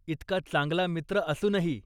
इतका चांगला मित्र असूनही!